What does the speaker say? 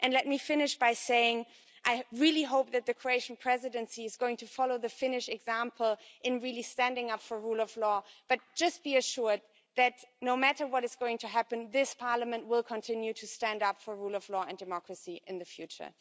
Let me finish by saying that I really hope the Croatian Presidency is going to follow the Finnish example in standing up for the rule of law, but just be assured that no matter what is going to happen this Parliament will continue to stand up for the rule of law and democracy in the future.